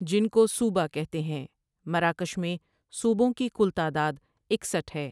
جن کو صوبہ کہتے ہیں مراکش میں صوبوں کی کل تعداد اکسٹھ ہے۔